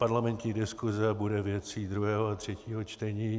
Parlamentní diskuse bude věcí druhého a třetího čtení.